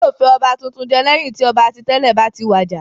Wọn yóò fi ọba tuntun jẹ lẹ́yìn tí ọba ti tẹ́lẹ̀ bá ti wàjà.